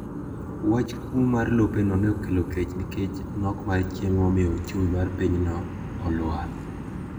Wach kuo mar lopeno ne okelo kech nikech nok mar chiemo momiyo ochumi mar pinyno olwar.